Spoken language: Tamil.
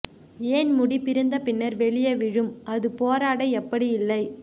ஏன் முடி பிறந்த பின்னர் வெளியே விழும் அது போராட எப்படி இல்லை